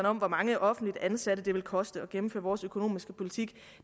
om hvor mange offentligt ansatte det vil koste at gennemføre vores økonomiske politik